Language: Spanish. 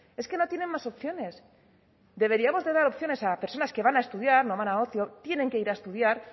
es que no tienen más opciones deberíamos de dar opciones a personas que van a estudiar no van a ocio tienen que ir a estudiar